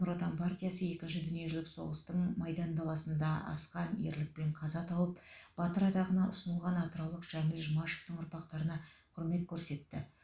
нұр отан партиясы екінші дүниежүзілік соғыстың майдан даласында асқан ерлікпен қаза тауып батыр атағына ұсынылған атыраулық жәміл жұмашевтің ұрпақтарына құрмет көрсетті